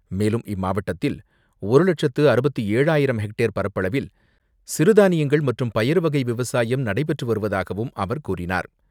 மேலும், இம்மாவட்டத்தில், ஒரு லட்சத்து அறுபத்து ஏழு ஆயிரம் ஹெக்டேர் பரப்பளவில் சிறுதானியங்கள், மற்றும் பயறு வகை விவசாயம் நடைபெற்று வருவதாகவும் அவர் கூறினார்.